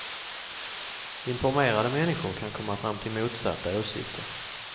Informerade människor kan komma fram till motsatta åsikter.